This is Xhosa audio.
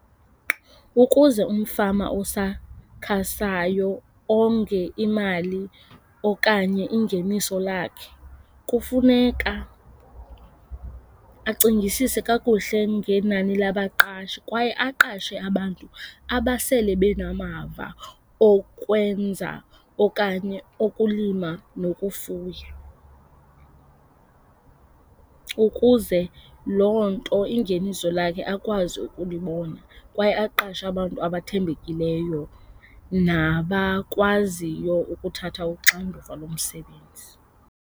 Ukuze umfama osakhasayo onge imali okanye ingeniso lakhe kufuneka acingisise kakuhle ngenani labaqashi kwaye aqashe abantu abasele benamava okwenza okanye okulima nokufuya. Ukuze loo nto ingeniso lakhe akwazi ukulibona kwaye aqashe abantu abathembekileyo nabakwaziyo ukuthatha uxanduva lomsebenzi.